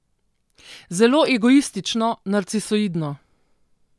Zelo egoistično, narcisoidno.